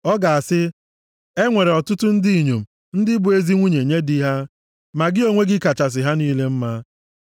Ọ ga-asị; “E nwere ọtụtụ ndị inyom ndị bụ ezi nwunye nye di ha, ma gị onwe gị kachasị ha niile mma.”